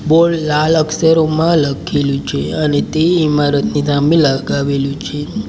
Board લાલ અક્ષરોમાં લખેલુ છે અને તે ઇમારતની સામે લગાવેલું છે.